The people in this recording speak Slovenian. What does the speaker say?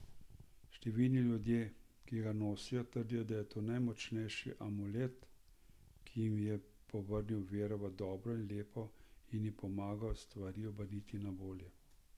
Številni ljudje, ki ga nosijo, trdijo, da je to najmočnejši amulet, ki jim je povrnil vero v dobro in lepo in jim pomagal stvari obrniti na bolje.